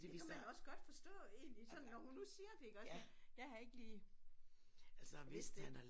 Det kunne man også godt fortså egentlig sådan når hun nu siger det iggås men jeg har ikke lige vidst det